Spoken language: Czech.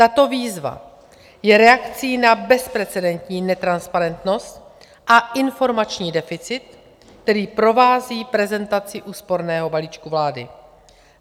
Tato výzva je reakcí na bezprecedentní netransparentnost a informační deficit, který provází prezentaci úsporného balíčku vlády.